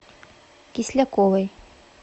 кисляковой